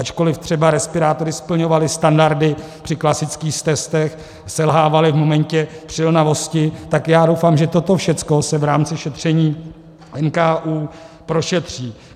Ačkoliv třeba respirátory splňovaly standardy při klasických testech, selhávaly v momentě přilnavosti, tak já doufám, že toto všecko se v rámci šetření NKÚ prošetří.